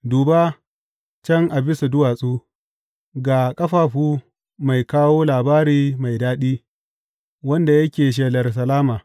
Duba, can a bisa duwatsu, ga ƙafafu mai kawo labari mai daɗi, wanda yake shelar salama!